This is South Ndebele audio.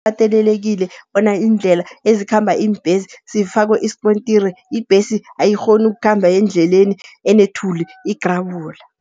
Kukatelelekile bona iindlela ezikhamba iimbhesi zifakwe iskontiri, ibhesi ayikghoni ukukhamba endleleni enethuli igrabula.